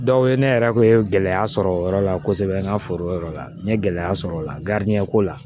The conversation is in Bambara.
ne yɛrɛ kun ye gɛlɛya sɔrɔ o yɔrɔ la kosɛbɛ n ka foro yɛrɛ la n ye gɛlɛya sɔrɔ o la ko la